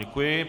Děkuji.